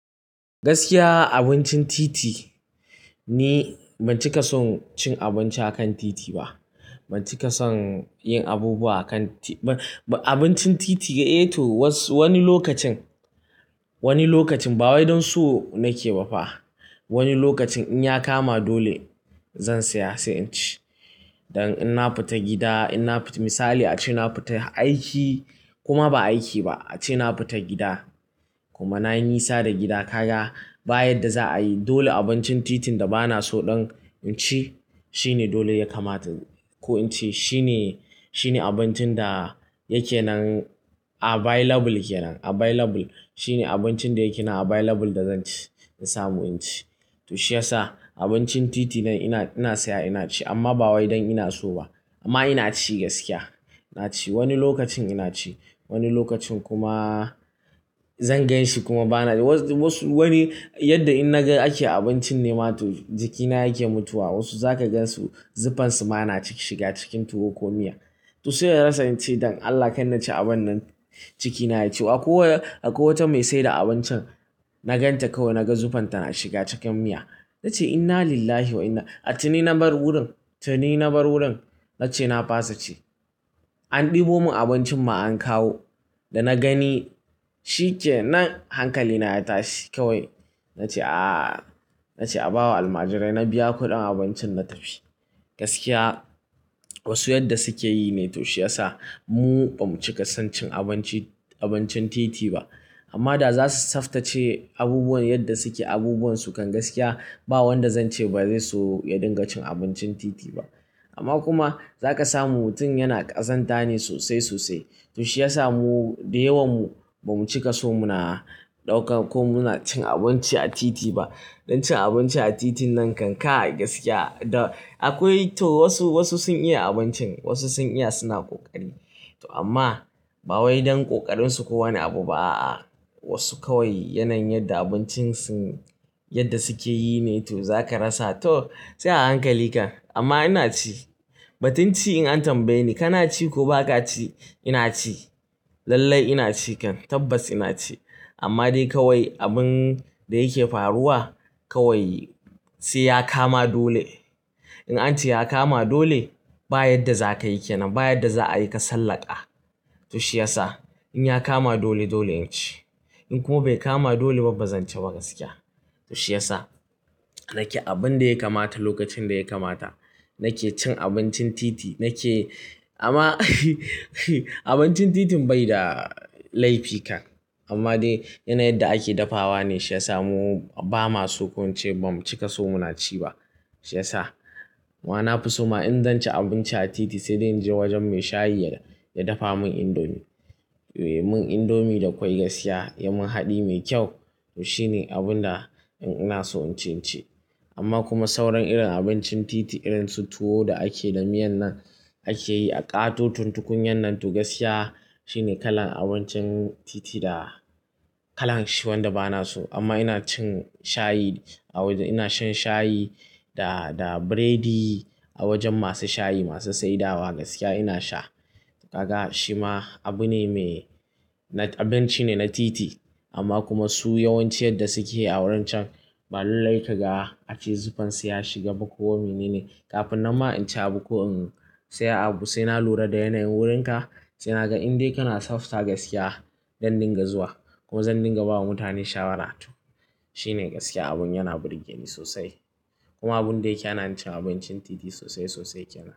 Gaskiya abincin titi ni ban cika son cin abinci a kan titi ba. Ban cika son yin abubuwa a kan ti-- abincin titi, eh to wasu wani lokacin, wani lokacin ba wai don so nake ba fa. Wani lokacin in ya kama dole zan saya sai in ci. Don in na fita gida, in na fita misali ace na fita aiki kuma ba aiki ba ace na fita gida kuma na yi nisa da gida ka ga bayan da za a yi dole abincin titin da ba na so ɗon in ci shine dole ya kamata na yi ko in ce shine, shine abincin da yake nan available ke nan available. Shine abincin da yake nan available da zan ci, in samu in ci. To shiyasa abincin titi nan ina, ina saya ina ci amma ba wai don ina so ba. Amma ina ci gaskiya. Ina ci wani lokacin ina ci, wani lokacin kuma zan gan shi kuma bana so. Wasu, wasu, wani yadda in na ga ake abincin ne ma jikina yake mutuwa. Wasu za ka gan su zuffan su ma na ciki shiga cikin tuwo ko miya. To sai na rasa in ce don Allah kai na ci abun nan cikina ya ci. Akwai akwai wata mai saida abincin na ganta kawai na ga zuffanta na shiga cikin miya. Na ce inna lillahi wa inna. A tuni na bar wurin, tuni na bar wurin. Na ce na fasa ci. An ɗebo mun abincin mu an kawo da na gani shi ke nan hankali na ya tashi kawai. Na ce a, na ce a bawa almajirai na biya kuɗin abincin na tafi. Gaskiya wasu yadda suke yi ne to shiyasa mu ban cika son cin abinci, abincin titi ba. Amma da za su tsaftace abubuwan yadda suke abubuwan su kan gaskiya ba wanda zan ce ba zai so ya dinga cin abincin titi ba. Amma kuma za ka samu mutum yana ƙazanta ne sosai sosai. To shiyasa mu da yawan mu ban cika so muna ɗauka ko muna cin abinci a titi ba. Don cin abinci a titin nan kai kai gaskiya da akwai to wasu, wasu sun iya abincin wasu sun iya suna ƙoƙari. Amma ba wai don kokarin su ko wani abu ba a a. Wasu kawai yanayin yadda abincin sun yadda suke yi ne to za ka rasa to sai a hankali kan. Amma ina ci. Batun cii in an tambaye ni kana ci ko ba ka ci, ina ci. Lallai ina ci kan. Tabbas ina ci. Amma dai kawai abun da yake faruwa kawai sai ya kama dole. In an ce ya kama dole bayan da za ka yake nan bayan da za a yi ka sallaka. To shiyasa in ya kama dole dole in ci. In kuma bai kama dole ba bazan ci ba gaskiya. To shiyasa nake abun da ya kamata lokacin da ya kamata. Nake cin abincin titi nake amma abincin titin bai da laifi kan. Amma dai yana yadda ake dafawa ne shiyasa mu ba ma so ko mu ce ba mu cika so muna ci ba. Shiyasa wa na fi so ma in zan ci abinci a titi sai dai in je wajen mai shayi ya dafa mun indomi. Mun indomi da kwai gaskiya ya mun haɗi mai kyau. To shine abun da in ina so in ci ci. Amma kuma sauran irin abincin titi irin su tuwo da ake da miyan nan ake yi a ƙatoton tukunyan nan to gaskiya shine kalan abincin titi da kalan shi wanda ba na so. Amma ina cin shayi a wajen ina shan shayi da, da burodi a wajen masu shayi masu saidawa gaskiya ina sha. Kafa shi ma abu ne mai na kadanci ne na titi. Amma kuma su yawanci yadda suke a wurin can, ba lullai ka ga ace zuffan su ya shiga ba ko menene. Kafin nan ma in ci abu ko in saya abu sai na lura da yanayin wurin ka. Sai na ga in dai kana tsafta gaskiya zan dinga zuwa kuma zan dinga bawa mutane shawara to. Shine gaskiya abun yana burge ni sosai. Kuma abun da yake hana cin abincin titi sosai sosai kenan.